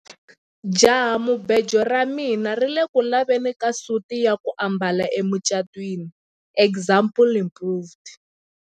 Jahamubejo ra mina ri ku le ku laveni ka suti ya ku ambala emucatwini example improved.